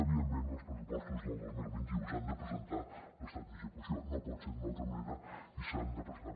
evidentment en els pressupostos del dos mil vint u s’ha de presentar l’estat d’execució no pot ser d’una altra manera i s’ha de presentar